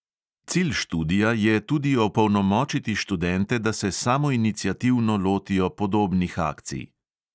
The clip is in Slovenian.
Cilj študija je tudi opolnomočiti študente, da se samoiniciativno lotijo podobnih akcij.